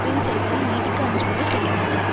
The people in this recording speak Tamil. தரும் செயல்களை நீதிக்கு அஞ்சுபவர் செய்ய மாட்டார்